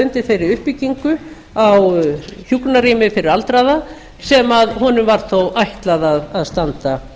undir þeirri uppbyggingu á hjúkrunarrými fyrir aldraða sem honum var þó ætlað að standa